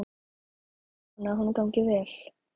Ég vona að honum gangi vel.